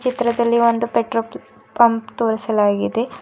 ಚಿತ್ರದಲ್ಲಿ ಒಂದು petrol pump ತೋರಿಸಲಾಗಿದೆ.